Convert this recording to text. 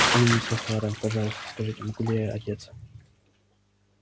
о мисс охара пожалуйста скажите могу ли я одеться